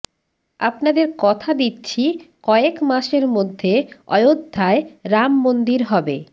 আপনাদের কথা দিচ্ছি কয়েক মাসের মধ্যে অয়োধ্যায় রাম মন্দির হবে